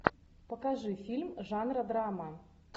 покажи фильм жанра драма